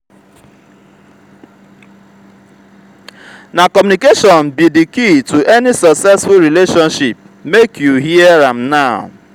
na communication be di key to any successful relationship make you hear am now.